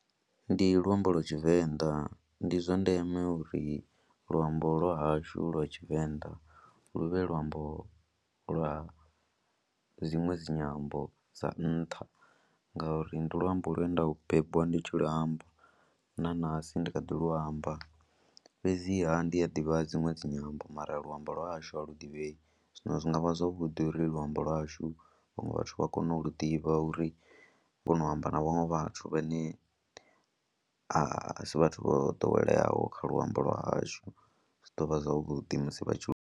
Ndi luambo lwa Tshivenḓa, ndi zwa ndeme uri luambo lwa hashu lwa Tshivenḓa lu vhe luambo lwa dziṅwe dzi nyambo dza nṱha ngauri ndi luambo lune nda lu bebiwa ndi tshi luambo na ṋahasi ndi kha ḓi luamba. Fhedziha ndi a ḓivha dziṅwe dzi nyambo mara luambo lwa hashu a lu ḓivhei, zwino zwi nga vha zwavhuḓi uri luambo lwashu vhaṅwe vhathu vha kone u lu ḓivha uri vha kone u amba na vhaṅwe vhathu vhane a si vhathu vho ḓoweleaho kha luambo lwa hashu, zwi ḓo vha zwavhuḓi musi vha tshi lu.